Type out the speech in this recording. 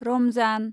Ramzan